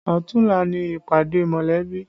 Ọ̀tunla ni ìpàdé mọ̀lẹ́bí